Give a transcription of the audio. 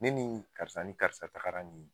Ne ni nin karisa ni karisa tagara nin ye.